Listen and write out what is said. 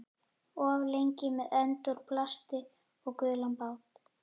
Of lengi með önd úr plasti og gulan bát